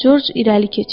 Corc irəli keçdi.